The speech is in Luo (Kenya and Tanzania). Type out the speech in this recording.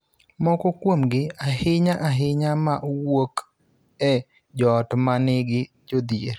Moko kuomgi, ahinya-ahinya ma wuok e joot ma nigi jodhier,